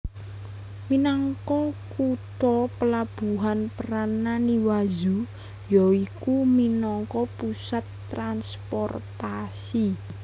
Minangka kutha pelabuhan peran Naniwazu ya iku minangka pusat transportasi